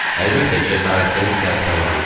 Əlbəttə, cəsarətin tərifə layiqdir.